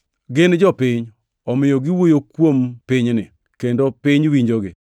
Gin jopiny, omiyo giwuoyo kuom pinyni kendo piny winjogi.